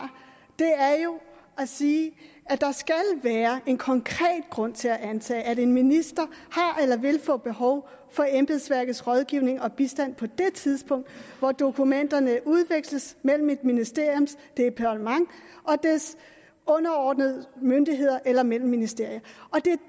er jo at sige at der skal være en konkret grund til at antage at en minister har eller vil få behov for embedsværkets rådgivning og bistand på det tidspunkt hvor dokumenterne udveksles mellem et ministeriums departement og dets underordnede myndigheder eller mellem ministerier det